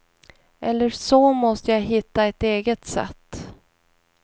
Eller så måste jag hitta ett eget sätt.